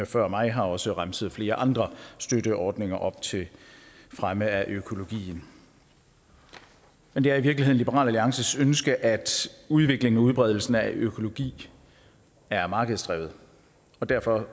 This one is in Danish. før mig har også remset flere andre støtteordninger op til fremme af økologien men det er i virkeligheden liberal alliances ønske at udviklingen og udbredelsen af økologi er markedsdrevet og derfor